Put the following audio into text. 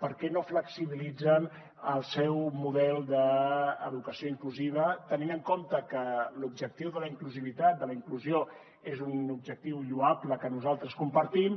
per què no flexibilitzen el seu model d’educació inclusiva tenint en compte que l’objectiu de la inclusivitat de la inclusió que és un objectiu lloable que nosaltres compartim